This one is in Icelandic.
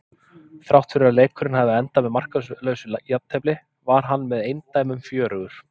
Þrátt fyrir að leikurinn hafi endað með markalausu jafntefli var hann með eindæmum fjörugur.